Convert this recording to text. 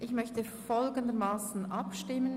Ich möchte folgendermassen abstimmen: